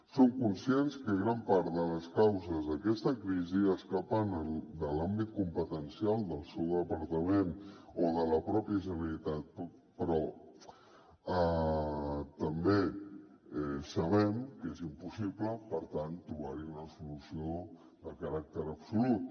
som conscients que gran part de les causes d’aquesta crisi escapen de l’àmbit competencial del seu departament o de la mateixa generalitat però també sabem que és impossible per tant trobar hi una solució de caràcter absolut